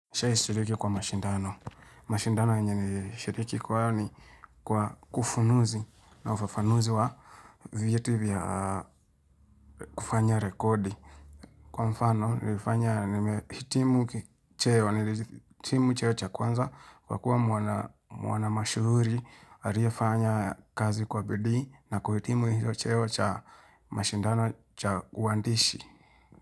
Nishaishiriki kwa mashindano. Mashindano yenye nilishriki kwao ni kwa kufunuzi na ufafanuzi wa vieti vya kufanya rekodi. Kwa mfano, nilifanya nimehitimu cheo, nifanya hitimu cheo cha kwanza, kwa kuwa mwana mashuhuri, aliyefanya kazi kwa bidii na kuhitimu hiyo cheo cha mashindano cha uandishi.